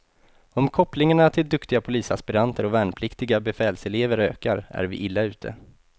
Om kopplingarna till duktiga polisaspiranter och värnpliktiga befälselever ökar är vi illa ute.